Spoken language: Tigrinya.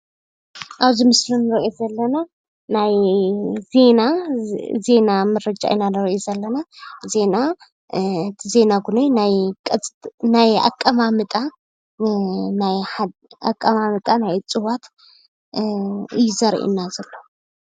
አብዚ ምስሊ እንሪኦ ዘለና ናይ ዜና ምርጫ ኢና ንሪኢ ዘለና ዜና እቲ ዜና እውነይ ናይ አቀማምጣ ናይ እፅዋት እዩ ዘርኢና ዘሎ፡፡